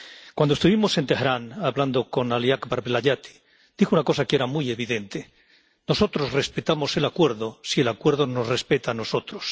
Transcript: Cuando estuvimos en Teherán hablando con Ali Akbar Velayati, dijo una cosa que era muy evidente Nosotros respetamos el acuerdo si el acuerdo nos respeta a nosotros.